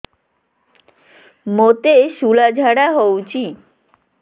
ମୋତେ ଶୂଳା ଝାଡ଼ା ହଉଚି